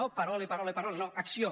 no parole parole parole no acció